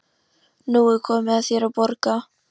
Nú er komið að þér að borga.